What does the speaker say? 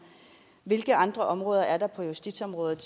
hvilke andre områder er der på justitsområdet